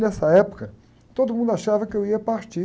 Nessa época, todo mundo achava que eu ia partir.